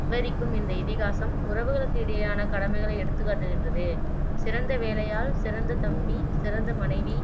விவரிக்கும் இந்த இதிகாசம் உறவுகளுக்கு இடையேயான கடமைகளை எடுத்துக் காட்டுகின்றது சிறந்த வேலையாள், சிறந்த தம்பி, சிறந்த மனைவி